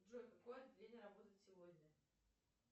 джой какое отделение работает сегодня